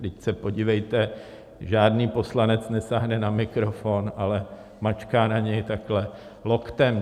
Vždyť se podívejte, žádný poslanec nesáhne na mikrofon, ale mačká na něj takhle loktem.